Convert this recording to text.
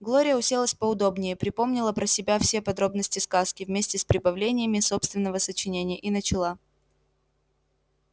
глория уселась поудобнее припомнила про себя все подробности сказки вместе с прибавлениями собственного сочинения и начала